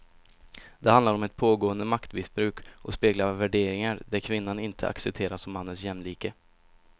Det handlar om ett pågående maktmissbruk och speglar värderingar där kvinnan inte accepteras som mannens jämlike.